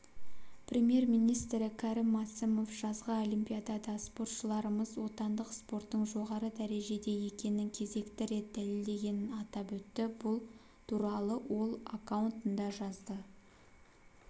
премьер-министрі кәрім мәсімов жазғы олимпиадада спортшыларымыз отандық спорттың жоғары дәрежеде екенін кезекті рет дәлелдегенін атап өтті бұл туралы ол аккаунтында жазды